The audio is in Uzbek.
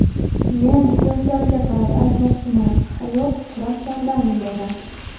Men yoshlarga qarata aytmoqchiman – hayot kurashlardan iborat.